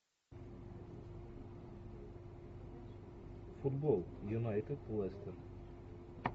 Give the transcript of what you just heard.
футбол юнайтед лестер